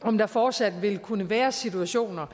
om der fortsat vil kunne være situationer